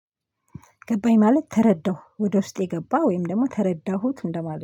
ገባኝ ማለት ተረዳሁ ወደ ውስጤ ገባ ወይም ደግሞ ተረዳሁት እንደማለት